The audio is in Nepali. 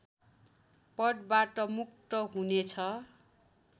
पदवाट मुक्त हुने छ